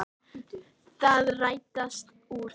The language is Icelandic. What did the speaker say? Það rættist úr þessu.